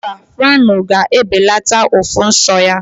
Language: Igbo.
Mba, Franol ga ebelata ụfụ nsọ ya